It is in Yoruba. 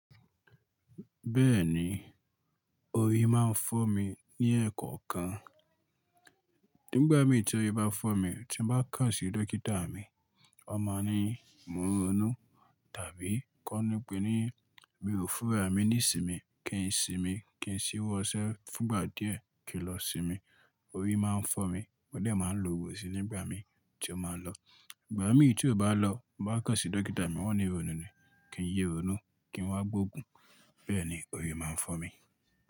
Bẹ́ẹ̀ni, orí máa ń fọ́ mi ní ẹ̀ẹ̀kọ-ọ̀kan. Nígbà mí tí orí bá fọ́ mi tí mo bá kà sí dókítà mi, a máa ní mo ronú tàbí kó ni pé mi o fún ra mi ni ìsinmi, kí n sinmi, kí n ṣíwọ́ṣẹ́ fúngbà díẹ̀ kí n lọ sinmi. Orí máa ń fọ́ mi, mo dẹ̀ máa ń lo ògún síi nígbà mí tí ó máa ń lọ. Ìgbà mí tí ò bá lọ bá kàn sí dókítà mi wọ́n ní ironú ni, kí n yé ronú, kí n wá gbógun. Bẹ́ẹ̀ni orí máa ń fọ́ mi.